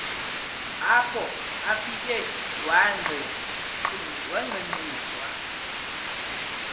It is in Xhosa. apho afike wangqengqiswa